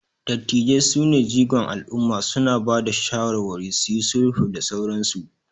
dattijai sune jigon alumma, suna Bada shawarwari, suyi sulhu da sauransu